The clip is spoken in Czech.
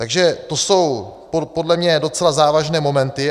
Takže to jsou podle mě docela závažné momenty.